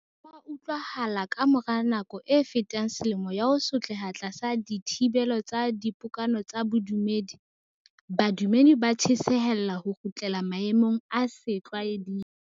Ho a utlwahala hore ka mora nako e fetang selemo ya ho sotleha tlasa dithibelo tsa dipokano tsa bodumedi, badumedi ba tjhesehela ho kgutlela maemong a setlwa eding.